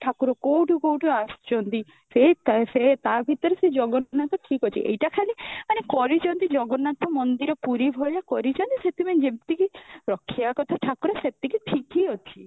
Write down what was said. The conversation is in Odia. ଠାକୁର କୋଉଠୁ କୋଉଠୁ ଆସୁଛନ୍ତି ସେ ତ ସେ ତା ଭିତରେ ଜନ୍ନାଥ ଠିକ ଅଛି ଏଟା ଖାଲି ମାନେ କରିଛନ୍ତି ଜଗନ୍ନାଥ ମନ୍ଦିର ପୁରୀ ଭଳିଆ କରିଛନ୍ତି ସେଥିପାଇଁ ଯେମିତି କି ରଖିବା କଥା ଠାକୁର ସେମିତି ଠିକ ହିଁ ଅଛି